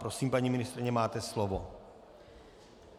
Prosím, paní ministryně, máte slovo.